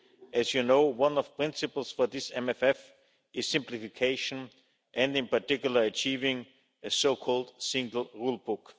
As you know, one of the principles for this MFF is simplification and, in particular, achieving a so called single rule book'.